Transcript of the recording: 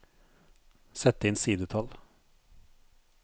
Sett inn sidetall